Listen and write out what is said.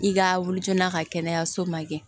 I ka wuli joona a ka kɛnɛyaso ma kɛ